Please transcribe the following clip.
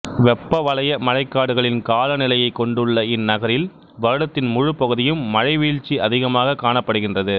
வெப்பவலய மழைக்காடுகளின் காலநிலையைக் கொண்டுள்ள இந்நகரில் வருடத்தின் முழுப்பகுதியும் மழைவீழ்ச்சி அதிகமாகக் காணப்படுகின்றது